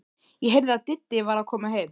Ég heyrði að Diddi var að koma heim.